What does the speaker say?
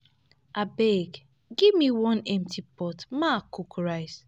Abeg give me one empty pot make I cook rice